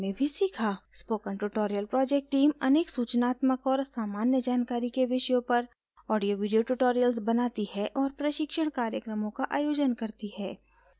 spoken tutorial project team अनेक सूचनात्मक और सामान्य जानकारी के विषयों पर ऑडियोवीडियो ट्यूटोरियल्स बनाती है और प्रशिक्षण कार्यक्रमों का आयोजन करती है